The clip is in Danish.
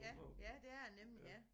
Ja ja det er det nemlig ja